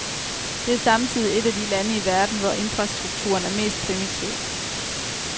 Det er samtidigr et af de lande i verden, hvor infrastrukturen er mest primitiv.